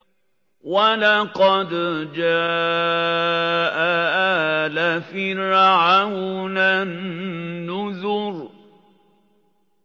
وَلَقَدْ جَاءَ آلَ فِرْعَوْنَ النُّذُرُ